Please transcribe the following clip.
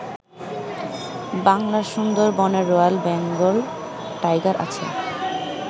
বাংলার সুন্দরবনে royal Bengal tiger আছে।